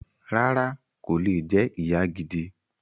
Rárá, kò lè jẹ ìyá gidi